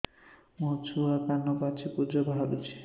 ମୋ ଛୁଆ କାନ ପାଚି ପୂଜ ବାହାରୁଚି